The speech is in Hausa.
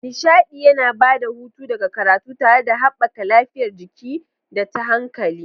Nishaɗi yana ba da hutu daga karatu tare da haɓaka lafiyar jiki da ta hankali.